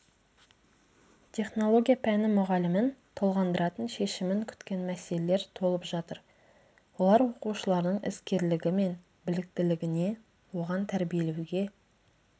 технология пәні мұғалімін толғандыратын шешімін күткен мәселелер толып жатыр олар оқушылардың іскерлігі мен біліктілігіне оған тәрбиелеуге